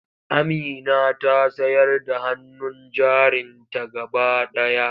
Amina ta sayar da hannun jarinta gaba ɗaya.